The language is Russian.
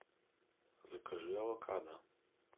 закажи авокадо